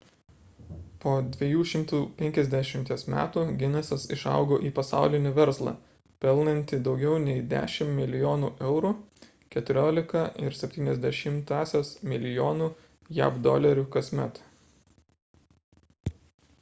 po 250 metų ginesas išaugo į pasaulinį verslą pelnantį daugiau nei 10 milijonų eurų 14,7 mln. jav dolerių kasmet